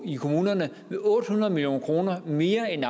i kommunerne med otte hundrede million kroner mere end